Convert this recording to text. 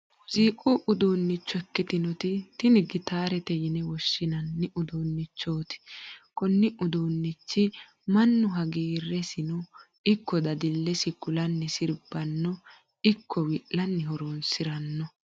muziiqu uduunnicho ikkitinoti tini gitaarete yine woshshinanni uduunnichooti. konne uduunnicho mannu hagiirresino ikko dadillesi kulanni sirbannino ikko wi'lanni horonsiranno .